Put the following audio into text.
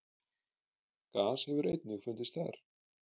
gas hefur einnig fundist þar